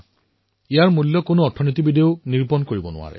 দেশবাসীৰ চিন্তাধাৰাত কিমান ডাঙৰ পৰিৱৰ্তন আহিছে সেয়াও এবছৰৰ ভিতৰতে